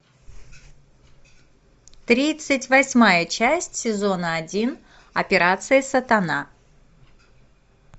тридцать восьмая часть сезона один операция сатана